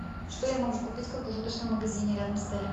что я могу купить в круглосуточном магазине рядом с отелем